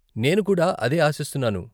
నేను కూడా అదే ఆశిస్తున్నాను.